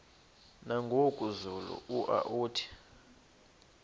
nangoku zulu uauthi